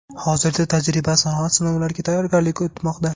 Hozirda tajriba-sanoat sinovlariga tayyorgarlik ketmoqda.